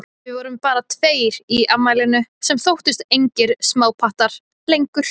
Við vorum bara tveir í afmælinu, sem þóttust engir smápattar lengur.